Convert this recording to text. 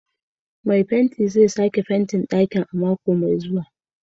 Mai fenti zai sake fentin ɗakin a mako mai zuwa.